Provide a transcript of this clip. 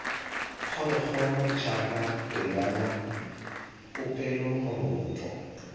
phologolo jaaka pelwana popelo moroto